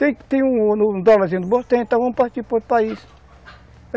Tem um dólarzinho no botão, então vamos partir para outro país.